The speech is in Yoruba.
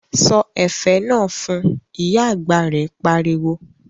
Sọ ẹ̀fẹ̀ náà fun', Ìyá àgbà rẹ̀ pariwo